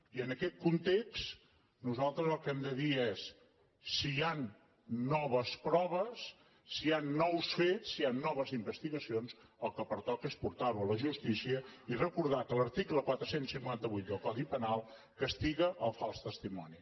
i en aquest context nosaltres el que hem de dir és si hi han noves proves si hi han nous fets si hi han noves investigacions el que pertoca és portarho a la justícia i recordar que l’article quatre cents i cinquanta vuit del codi penal castiga el fals testimoni